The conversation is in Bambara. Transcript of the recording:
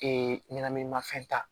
ɲɛnɛminimafɛn ta